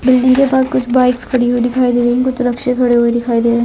Building के पास कुछ बाइक्स खड़ी हुई दिखाई दे रही है कुछ रिक्शे खड़े हुए दिखाई दे रहे हैं।